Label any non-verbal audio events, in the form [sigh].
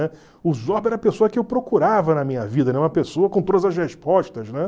O Zorba era a pessoa que eu procurava na minha vida, [unintelligible] uma pessoa com [unintelligible] as respostas.